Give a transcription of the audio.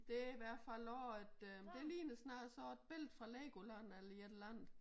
Det i hvert fald også et øh det ligner snarere sådan et billede fra Legoland eller sådan et eller andet